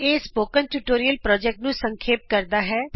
ਇਹ spoken tutorial project ਨੂੰ ਸੰਖੇਪ ਕਰਦਾ ਹੈ